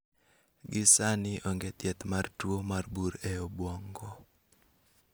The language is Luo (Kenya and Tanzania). Gi sani, onge thiedh mar tuo mar bur e obwongo